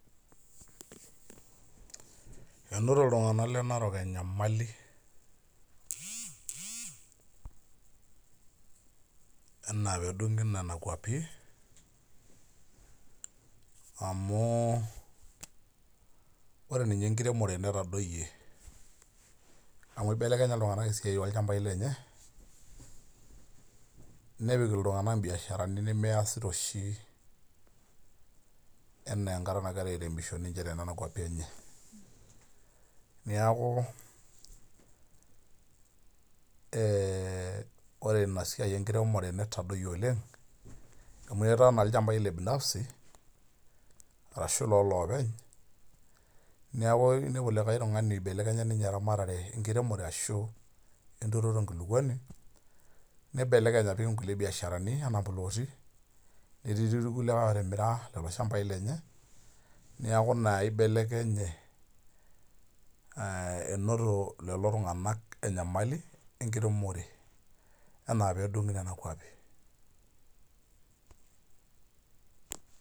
Enoto iltung'anak le Narok enyamali enaa pedung'i nena kwapi, amu ore ninye enkiremore netadoyie, amu ibelekenya iltung'anak esiai olchambai lenye, nepik iltung'anak ibiasharani measita oshi enaaa enkata nagira airemisho ninche tenena kwapi enye. Neeku ore inasiai enkiremore netadoyie oleng, amu etaa naa ilchambai le binafsi, arashu lolopeny, neeku nepu likae tung'ani ibelekenya ninye eramatare enkiremore ashu enturoto enkulukuoni, nibelekeny apik inkulie biasharani anaa plooti, netii ti irkulie otimira kulo shambai lenye, niaku ina ibelekenye enoto lelo tung'anak enyamali enkiremore enaa pedung'i nena kwapi.